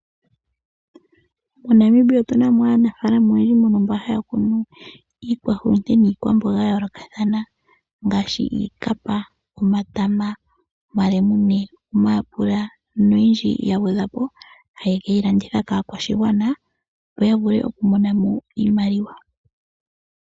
MoNamibia otuna mo aanafaalama oyendji mbono haya kunu iikwahulute niikwamboga ya yoolokathana ngaashi iikapa, omatama, omalemune, omayapula noyindji ya gwedhwapo haye keyi landitha kaakwashigwana yo ya vule oku monamo iimaliwa.